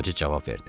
Qoca cavab verdi.